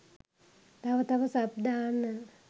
තව තව සබ් දාන්න